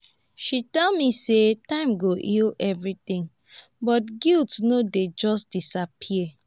she tell me sey time go heal everytin but guilt no dey just disappear.